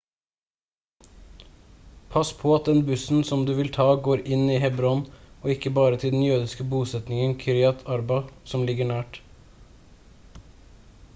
pass på at den bussen som du vil ta går inn i hebron og ikke bare til den jødiske bosetningen kiryat arba som ligger nært